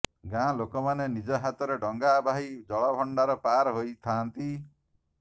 ଗାଁ ଲୋକମାନେ ନିଜ ହାତରେ ଡଙ୍ଗା ବାହି ଜଳଭଣ୍ଡାର ପାର ହୋଇଥାଆନ୍ତି